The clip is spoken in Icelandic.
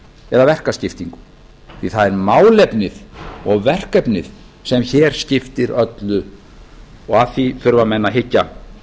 eða verkaskiptingu því það er málefnið og verkefnið sem hér skiptir öllu og að því þurfa menn að hyggja